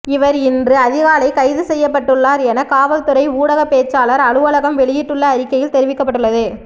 இவர் இன்று அதிகாலை கைது செய்யப்பட்டுள்ளார் என காவல் துறை ஊடகப்பேச்சாளர் அலுவலகம் வெளியிட்டுள்ள அறிக்கையில் தெரிவிக்கப்பட்டுள்ளது